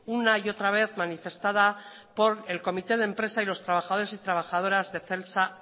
una y otra vez manifestada por el comité de empresa y los trabajadores y trabajadoras de celsa